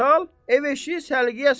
Ev-eşiyi səliqəyə sal.